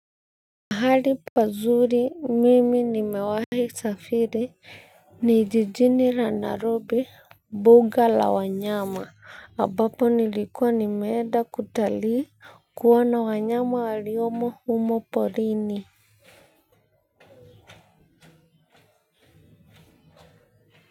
Mahali pazuri mimi nimewahi safiri ni jijini la nairobi mbuga la wanyama ambapo nilikuwa nimeenda kutalii kuona wanyama waliomo umo porini.